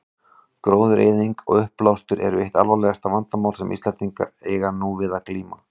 Gróðureyðing og uppblástur eru eitt alvarlegasta vandamál sem Íslendingar eiga nú við að glíma.